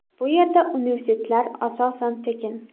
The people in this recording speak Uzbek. Bu yerda universitetlar asosan tekin.